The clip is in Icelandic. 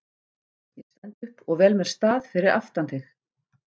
Ég stend upp og vel mér stað fyrir aftan þig.